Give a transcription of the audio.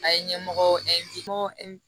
A ye ɲɛmɔgɔ